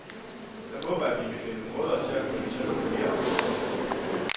Jeg håber, vi kan finde måder til at få det til at fungere bedre.